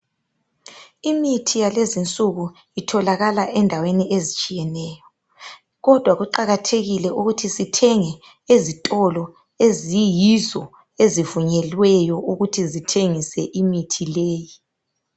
Imithi yalezinsuku itholakala endawen ezitshiyeneyo kodwa kuqakathekile ukuthi sithenge ezitolo eziyizo ezivunyelweyo ukuthi zithengise imithi leyo